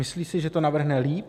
Myslí si, že to navrhne líp?